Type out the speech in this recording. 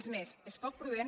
és més és poc prudent